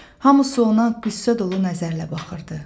Hamı ona qüssə dolu nəzərlə baxırdı.